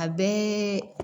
A bɛɛ